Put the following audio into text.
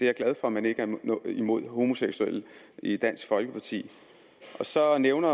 er glad for at man ikke er imod homoseksuelle i dansk folkeparti så nævnte